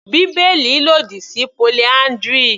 Bíbélì lòdì sí polyndry.